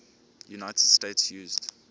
united states used